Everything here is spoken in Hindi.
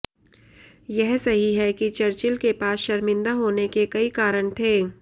यह सही है कि चर्चिल के पास शर्मिंदा होने के कई कारण थे